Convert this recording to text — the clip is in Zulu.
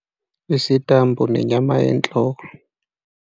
Isitambu nenyama yenhloko.